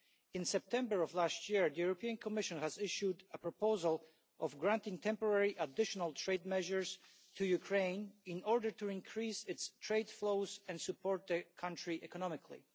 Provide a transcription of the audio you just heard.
In September last year, the Commission issued a proposal for granting temporary additional trade measures to Ukraine in order to increase its trade flows and support the country economically.